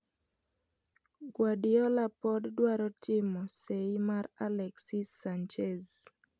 Guardiola pod dwaro timo seyi mar Alexis Sanchez